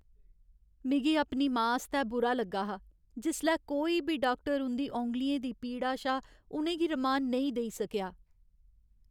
मिगी अपनी मां आस्तै बुरा लग्गा हा जिसलै कोई बी डाक्टर उं'दी औंगलियें दी पीड़ा शा उ'नें गी रमान नेईं देई सकेआ।